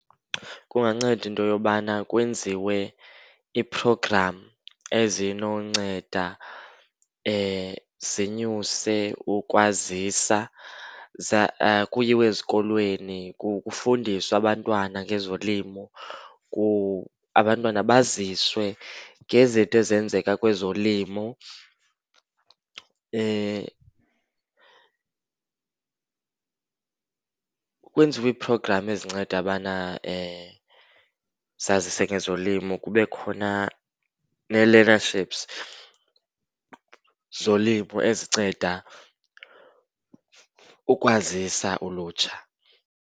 Kunganceda into yobana kwenziwe ii-program ezinonceda zinyuse ukwazisa, kuyiwe ezikolweni kufundiswe abantwana ngezolimo. Abantwana baziswe ngezinto ezenzeka kwezolimo, kwenziwe ii-program ezinceda ubana zazise ngezolimo. Kube khona nee-learnerships zolimo ezinceda ukwazisa ulutsha.